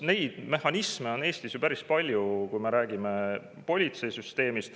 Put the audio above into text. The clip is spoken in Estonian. Neid mehhanisme on Eestis päris palju, kui me räägime politseisüsteemist.